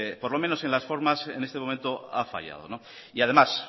por lo menos en las formas en este momento ha fallado además